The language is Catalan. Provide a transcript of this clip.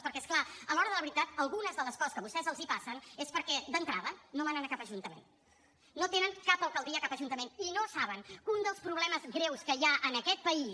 perquè és clar a l’hora de la veritat algunes de les coses que a vostès els passen els passen perquè d’entrada no manen a cap ajuntament no tenen cap alcaldia a cap ajuntament i no saben que un dels problemes greus que hi ha en aquest país